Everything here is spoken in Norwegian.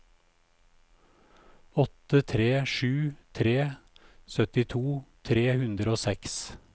åtte tre sju tre syttito tre hundre og seks